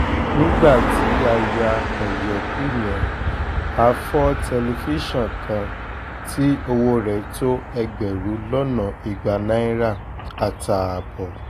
nígbà tí a ya ọ̀yẹ̀kú yẹn a fọ́ tẹlifíṣàn kan tí owó rẹ̀ tó ẹgbẹ̀rún lọ́nà igba náírà àtààbọ̀